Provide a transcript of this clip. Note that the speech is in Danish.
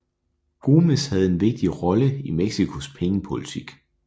Gómez havde en vigtig rolle i Mexicos pengepolitik